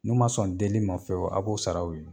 N'u man sɔn deli ma fiyewu a' b'o sara u ye.